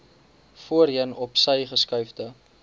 voorheen opsy geskuifde